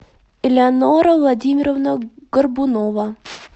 элеонора владимировна горбунова